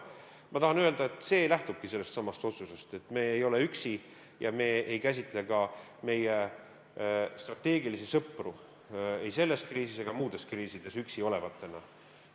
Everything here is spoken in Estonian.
Ma tahan öelda, et see lähtubki sellestsamast otsusest, et me ei ole üksi ja me ei käsitle ka meie strateegilisi sõpru ei selles kriisis ega muudes kriisides üksi olevatena.